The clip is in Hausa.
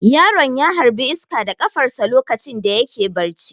Yaron ya harbi iska da kafarsa lokacin da yake barci.